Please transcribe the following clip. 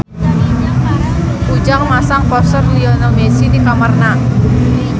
Ujang masang poster Lionel Messi di kamarna